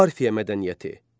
Parfiya mədəniyyəti.